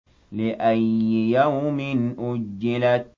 لِأَيِّ يَوْمٍ أُجِّلَتْ